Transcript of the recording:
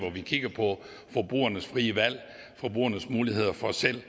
vi kigger på forbrugernes frie valg forbrugernes muligheder for selv